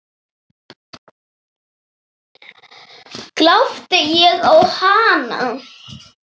Glápti ég á hana?